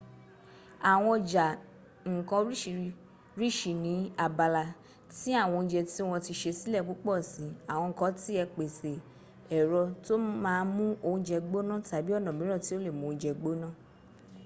àwọn ọjà ǹkan orsiríṣi ní abala ti àwọn óúnjẹ tí wọ́n ti sè sílẹ̀ púpọ̀ si. àwọn kan ti ẹ̀ pèsè ẹ̀rọ tó má mú óúnjẹ gbọ́ná tàbí ọ̀nà míràn tí o lè mú óúnjẹ gbóná